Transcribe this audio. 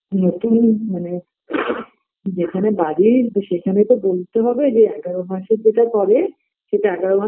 নতুন মানে যেখানে বাড়ির সেখানে তো বোলতে হবে যে এগারো মাসে যেটা করে সেটা এগারো মাস